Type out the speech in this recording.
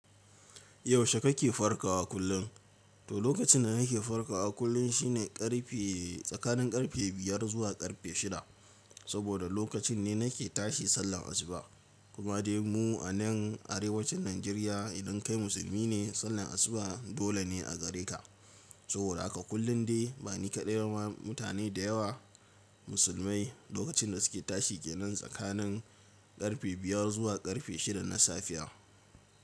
Yaushe kake farkawa kullum? To lokacin da nake farkawa kullum shine ƙarfe tsakanin ƙarfe biyar zuwa ƙarfe shida. Saboda lokacin ne nake tashi sallar asuba. Kuma dai mu a nan Arewacin Najeriya idan kai musulmi ne, sallar asuba dole ne a gare ka. Saboda haka kullum dai ba ni kaɗai ba mutane da yawa Musulmai lokacin da suke tashi ke nan tsakanin ƙarfe biyar zuwa ƙarfe shida na safiya.